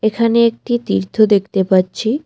এখানে একটি তীর্থ দেখতে পাচ্ছি।